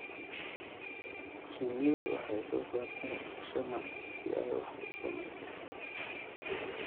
Shinnidu waxay soo saartaa shamac si ay wax u samayso.